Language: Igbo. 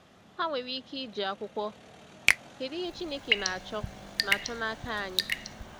Ha nwere ike iji akwụkwọ “Kedụ Ihe Chineke Na-achọ Na-achọ N’aka Anyị?”